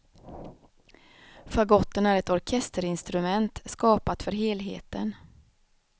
Fagotten är ett orkesterinstrument, skapat för helheten.